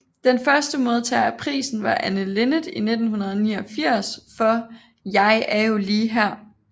Den første modtager af prisen var Anne Linnet i 1989 for Jeg er jo lige her